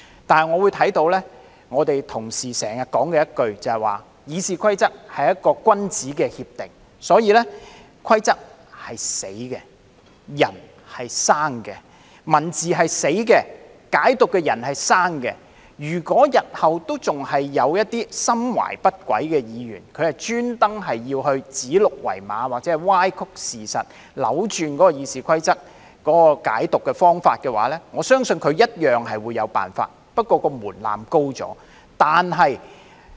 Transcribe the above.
不過，我聽到同事經常說，《議事規則》是君子協定，所以"規則是死的，人是生的"，"文字是死的，解讀的人是生的"，如果日後仍有一些心懷不軌的議員故意指鹿為馬或歪曲事實，扭轉《議事規則》的解讀方法的話，我相信他一樣會有辦法，但相關門檻提高了。